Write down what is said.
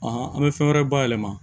an bɛ fɛn wɛrɛ bayɛlɛma